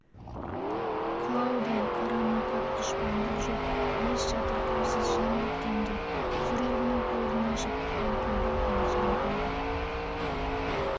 қылаудай қара ноқат дұшпандық жоқ еш жатырқаусыз жан біткенге жүрегінің төрін ашып аңқылдап елжіреген бір